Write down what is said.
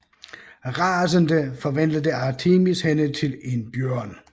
Rasende forvandlede Artemis hende til en bjørn